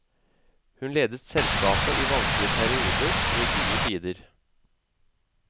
Hun ledet selskapet i vanskelige perioder og i gode tider.